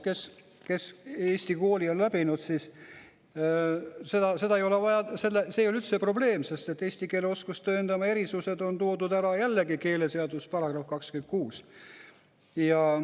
Kes Eesti kooli on läbinud, siis seda ei ole vaja, see ei ole üldse probleem, sest eesti keele oskust tõendavad erisused on toodud ära jällegi keeleseaduse §-s 26.